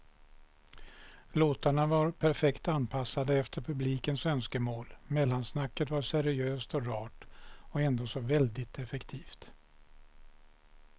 Låtarna var perfekt anpassade efter publikens önskemål, mellansnacket var seriöst och rart och ändå så väldigt effektivt.